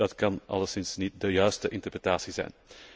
Dat kan alleszins niet de juiste interpretatie zijn.